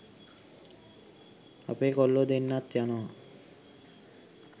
අපේ කොල්ලෝ දෙන්නත් යනවා